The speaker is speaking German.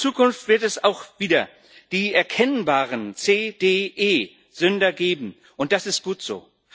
In Zukunft wird es auch wieder die erkennbaren C D E Sünder geben, und das ist gut so.